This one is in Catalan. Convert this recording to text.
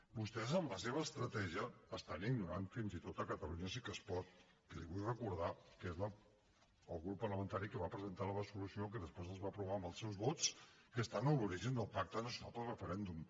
vostès amb la seva estratègia estan ignorant fins i tot catalunya sí que es pot que li vull recordar que és el grup parlamentari que va presentar la resolució que després es va aprovar amb els seus vots que està a l’origen del pacte nacional pel referèndum